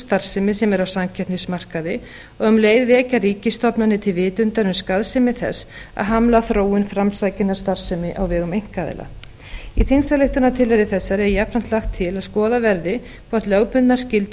starfsemi sem er á samkeppnismarkaði og um leið vekja ríkisstofnanir til vitundar um skaðsemi þess að hamla þróun framsækinnar starfsemi á vegum einkaaðila í þingsályktunartillögu þessari er jafnframt lagt til að skoðað verði hvort lögbundnar skyldur